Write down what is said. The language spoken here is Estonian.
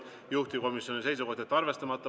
Juhtivkomisjoni seisukoht on jätta see arvestamata.